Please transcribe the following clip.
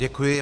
Děkuji.